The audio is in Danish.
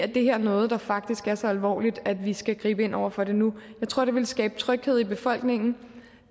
det her er noget der faktisk er så alvorligt at vi skal gribe ind over for det nu jeg tror det ville skabe tryghed i befolkningen